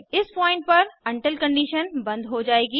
इस पॉइंट पर until condition बंद हो जाएगी